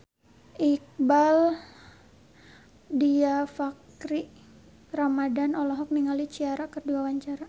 Iqbaal Dhiafakhri Ramadhan olohok ningali Ciara keur diwawancara